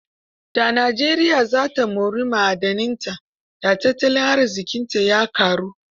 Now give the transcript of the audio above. Da Najeriya za ta mori ma'adananta, da tattalin arziƙinta ya ƙaru.